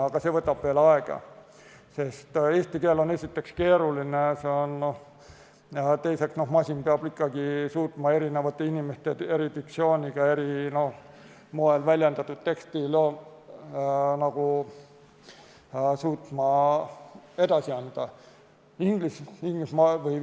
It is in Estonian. Aga see võtab veel aega, sest eesti keel on esiteks keeruline ja teiseks peab masin suutma erinevate inimeste eri diktsiooniga eri moel väljendatud teksti edasi anda.